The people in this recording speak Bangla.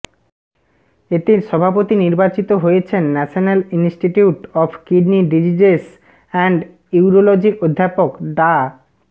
এতে সভাপতি নির্বাচিত হয়েছেন National Institute of Kidney Diseases and ইউরোলজির অধ্যাপক ডা